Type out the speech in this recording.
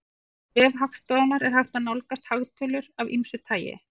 Á vef Hagstofunnar er hægt að nálgast hagtölur af ýmsu tagi.